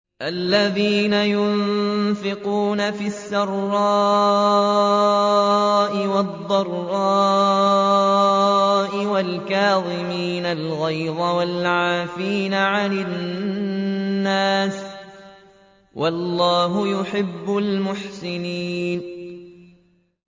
الَّذِينَ يُنفِقُونَ فِي السَّرَّاءِ وَالضَّرَّاءِ وَالْكَاظِمِينَ الْغَيْظَ وَالْعَافِينَ عَنِ النَّاسِ ۗ وَاللَّهُ يُحِبُّ الْمُحْسِنِينَ